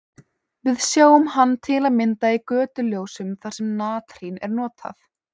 Við sjáum hann til að mynda í götuljósum þar sem natrín er notað.